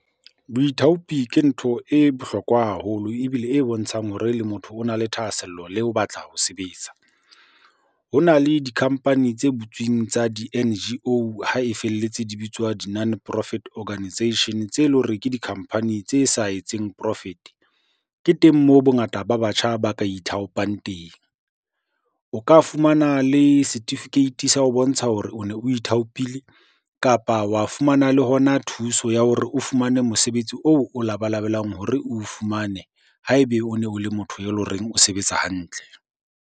Boithaopi ke ntho e bohlokwa haholo ebile e bontshang hore le motho o na le thahasello le o batla ho sebetsa. Ho na le di-company tse butsweng tsa di-N_G_O or ha e felletse di bitswa di- None Profit Organisation, tse leng hore ke di-company tse sa etseng profit. Ke teng moo bongata ba batjha ba ka ithaopang teng. O ka fumana le setifikeiti sa ho bontsha hore o ne o ithaopile, kapa wa fumana le hona thuso ya hore o fumane mosebetsi oo o labalabelang hore o fumane ha ebe o ne o le motho e leng horeng o sebetsa hantle.